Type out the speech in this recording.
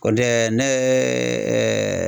Kɔntɛ ne ye